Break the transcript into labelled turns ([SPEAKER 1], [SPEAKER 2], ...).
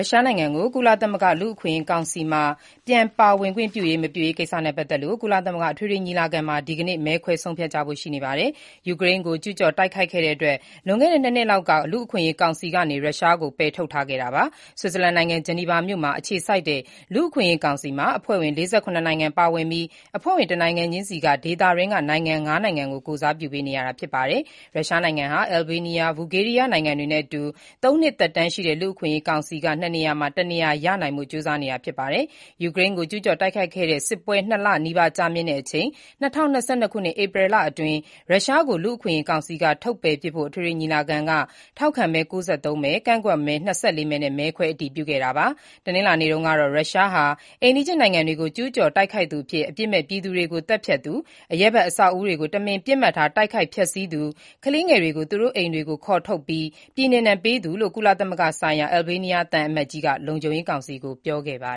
[SPEAKER 1] ုရှားနိုင်ငံကို ကုလသမဂ္ဂ လူ့အခွင့်ရေးကောင်စီမှာ ပြန်ပါဝင်ခွင့်ပြုရေး မပြုရေးကိစ္စနဲ့ပတ်သက်လို့ ကုလသမဂ္ဂ အထွေထွေညီလာခံမှာ ဒီကနေ့ မဲခွဲဆုံးဖြတ်ကြဖို့ရှိပါတယ်။ ယူကရိန်းကို ကျူးကျော်တိုက်ခိုက်တဲ့အတွက် လွန်ခဲ့တဲ့ ၂ နှစ်လောက်က လူ့အခွင့်အရေးကောင်စီကနေ ရုရှားကို ထုတ်ပယ်ထားခဲ့တာပါ။ ဆွစ်ဇာလန်နိုင်ငံ၊ ဂျနီဗာမြို့မှာအခြေစိုက်တဲ့ လူ့အခွင့်အရေးကောင်စီမှာ အဖွဲ့ဝင် ၄၇ နိုင်ငံပါဝင်ပြီး အဖွဲ့ဝင် တနိုင်ငံချင်းစီက ဒေသတွင်းက နိုင်ငံ ၅ နိုင်ငံကို ကိုယ်စားပြုပေးရတာ ဖြစ်ပါတယ်။ ရုရှားနိုင်ငံဟာ အယ်ဘေးနီးယားနဲ့ ဘူဂေးရီးယားနိုင်ငံတွေနည်းတူ ၃ နှစ်သက်တမ်းရှိတဲ့ လူ့အခွင့်အရေးကောင်စီက ၂ နေရာမှာ တနေရာရနိုင်ဖို့ ကြိုးစားနေတာဖြစ်ပါတယ်။ ယူကရိန်းကို ကျူးကျော်တိုက်ခိုက်တဲ့ စစ်ပွဲ ၂ လနီးပါးကြာတဲ့အချိန် ၂၀၂၂ ခုနှစ်၊ ဧပြီလအတွင်း ရုရှားကို လူ့အခွင့်အရေးကောင်စီက ထုတ်ပယ်ပစ်ဖို့ အထွေထွေညီလာခံက ထောက်ခံမဲ ၉၃ မဲ၊ ကန့်ကွက်မဲ ၂၄ မဲနဲ့ မဲခွဲ အတည်ပြုခဲ့တာပါ။ တနင်္လာနေ့တုန်းကတော့ ရုရှားဟာ အိမ်နီးချင်းနိုင်ငံတွေကို ကျူးကျော် တိုက်ခိုက်သူ၊ အပြစ်မဲ့ပြည်သူတွေကို သတ်ဖြတ်သူ၊ အရပ်ဘက် အဆောက်အဦးတွေကို တမင် ပစ်မှတ်ထား တိုက်ခိုက် ဖျက်ဆီးသူ၊ ကလေးငယ်တွေကို သူတို့အိမ်တွေက ခေါ်ထုတ်ပြီး ပြည်နှင်ပေးသူ လို့ ကုလသမဂ္ဂဆိုင်ရာ အယ်ဘေးနီးယားသံအမတ်ကြီး Ferit Hoxha က လုံခြုံရေးကောင်စီကို ပြောခဲ့ပါ